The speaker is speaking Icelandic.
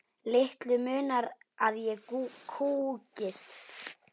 Litlu munar að ég kúgist.